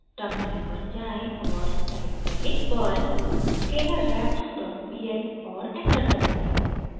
terminal पर जाएँ और टाइप करें: perl scalarref डॉट pl और एंटर दबाएं